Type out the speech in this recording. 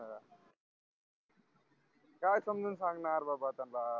काय समजून सांगणार बापा त्याला